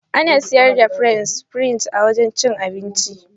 Ana siyar da French fries a wajan cin abinci.